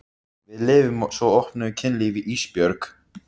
Við lifum svo opnu kynlífi Ísbjörg.